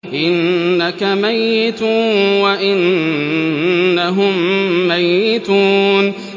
إِنَّكَ مَيِّتٌ وَإِنَّهُم مَّيِّتُونَ